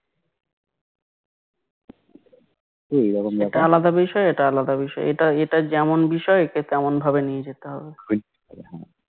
এটা আলাদা বিষয় এটা আলাদা বিষয় এটা যেমন বিষয় একে তেমনভাবে নিয়ে যেতে হবে